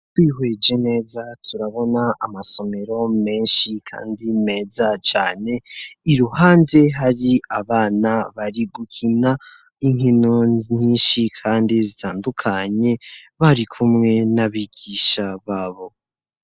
Twihweje neza, turabona amasomero menshi kandi meza cane. Iruhande hari abana bari gukina inkino nyinshi kandi zitandukanye bari kumwe n'abigisha babo.